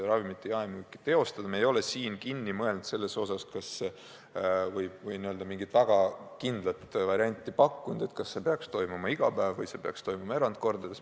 Me ei ole seda veel lõpuni mõelnud ega mingit väga kindlat varianti pakkunud, kas see peaks toimuma iga päev või erandolukorras.